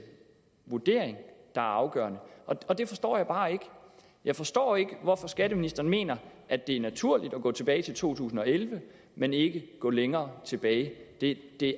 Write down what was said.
vurdering der er afgørende og det forstår jeg bare ikke jeg forstår ikke hvorfor skatteministeren mener at det er naturligt at gå tilbage til to tusind og elleve men ikke at gå længere tilbage det det